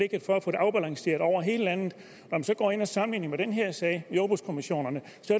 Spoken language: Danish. afbalanceret over hele landet når man så går ind og sammenligner med den her sag med jordbrugskommissionerne